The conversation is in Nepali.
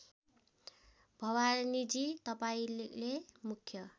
भवानीजी तपाईँले मुख्य